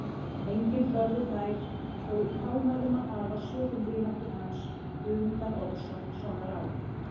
Enginn þorði þær þó í hámælum að hafa sökum vináttu hans og Guðmundar Ormssonar á